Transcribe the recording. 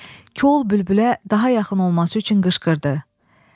Kol bülbülə daha yaxın olması üçün qışqırdı.